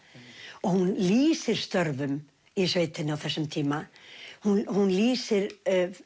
og hún lýsir störfum í sveitinni á þessum tíma hún lýsir